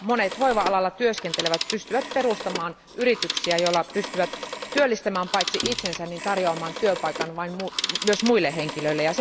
Monet hoiva alalla työskentelevät pystyvät perustamaan yrityksiä, joilla he pystyvät työllistämään paitsi itsensä myös tarjoamaan työpaikan muille henkilöille.